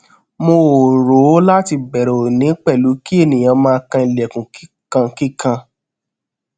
mo o ro lati bẹrẹ oni pẹlu ki eniyan maa kan ilẹkun kikankikan